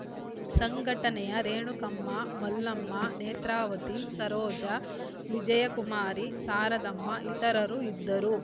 ಸಂಘಟನೆಯ ರೇಣುಕಮ್ಮ ಮಲ್ಲಮ್ಮ ನೇತ್ರಾವತಿ ಸರೋಜಾ ವಿಜಯಕುಮಾರಿ ಶಾರದಮ್ಮ ಇತರರು ಇದ್ದರು